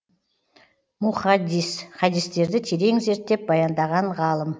мухаддис хадистерді терең зерттеп баяндаған ғалым